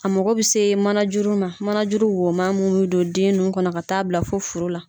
A mako bɛ se manajuruma manajuru woman munnu bɛ don den nun kɔnɔ ka taa bila fo furu la.